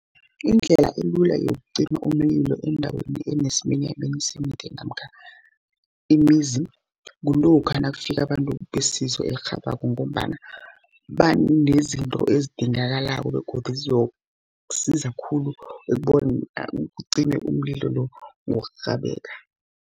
Indlela elula yokucima umlilo endaweni enesiminyaminya semithi, namkha imizi, kulokha nakufika abantu besizo elirhabako, ngombana banezinto ezidingakalako begodu zizokusiza khulu ukobana kucime umlilo lo, ngokurhababeka.